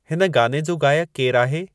हिन गाने जो गायकु केरु आहे